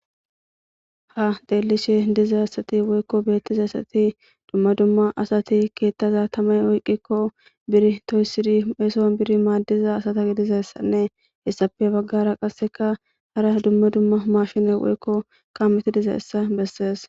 Ha delishe diza asati woyiko beettiza asati dumma dumma asati keettaza tamay oyqqikko biri toyssiri eeson biri maaddiza asata g dizayssanne hessafe baggara qasseka hara dumma dumma mashine woyiko ka meti dizayssa beses